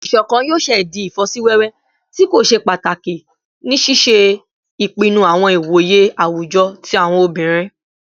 Iṣọkan yoo ṣee di ifosiwewe ti ko ṣe pataki ni ṣiṣe ipinnu awọn iwoye awujọ ti awọn obinrin